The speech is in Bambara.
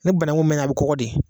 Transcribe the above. Ni banakun mɛnna a bɛ kɔgɔ de.